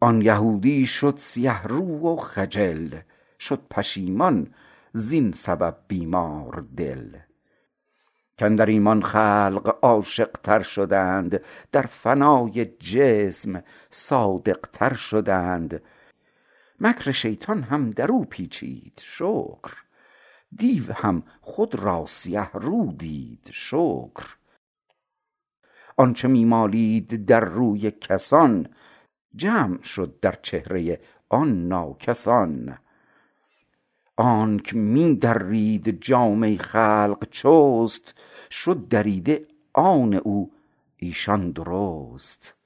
آن یهودی شد سیه رو و خجل شد پشیمان زین سبب بیماردل کاندر ایمان خلق عاشق تر شدند در فنای جسم صادق تر شدند مکر شیطان هم درو پیچید شکر دیو هم خود را سیه رو دید شکر آنچ می مالید در روی کسان جمع شد در چهره آن ناکس آن آنک می درید جامه خلق چست شد دریده آن او ایشان درست